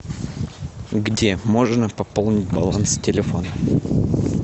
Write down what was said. где можно пополнить баланс телефона